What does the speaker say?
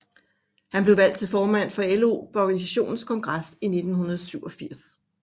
Han blev valgt til formand for LO på organisationens kongres i 1987